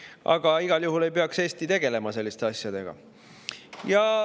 Aga igal juhul ei peaks Eesti tegelema selliste asjadega.